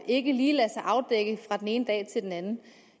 ikke lige lader sig afdække fra den ene dag til den anden